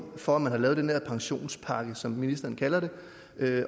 for at man har lavet den her pensionspakke som ministeren kalder det